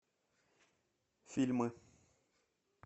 фильмы